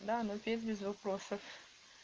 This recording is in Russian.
да но петь без вопросов